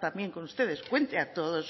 también con ustedes cuente a todos